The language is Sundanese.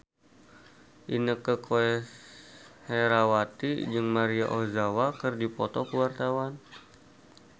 Inneke Koesherawati jeung Maria Ozawa keur dipoto ku wartawan